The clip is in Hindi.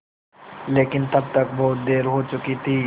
लेकिन तब तक बहुत देर हो चुकी थी